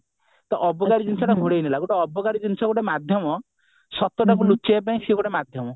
ଟା ଅବକାରୀ ଜିନିଷ ଟା ଘୋଡେଇ ହେଲା ତ ଅବକାରୀ ଜିନିଷଟା ଗୋଟେ ମାଧ୍ୟମ ସତଟା କୁ ଲୁଚେଇବା ପାଇଁ ସେ ଗୋଟେ ମାଧ୍ୟମ